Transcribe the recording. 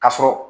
Ka sɔrɔ